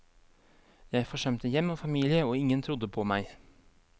Jeg forsømte hjem og familie og ingen trodde på meg.